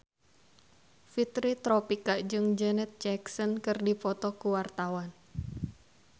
Fitri Tropika jeung Janet Jackson keur dipoto ku wartawan